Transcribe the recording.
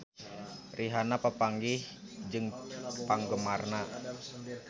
Rihanna papanggih jeung penggemarna